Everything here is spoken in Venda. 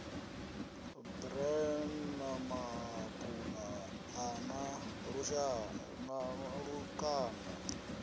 bran maḓabula a na lukanda